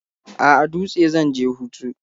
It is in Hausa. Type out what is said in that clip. A'a, Dutse zan je hutu.